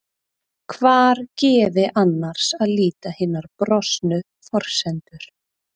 Hvar gefi annars að líta hinar brostnu forsendur?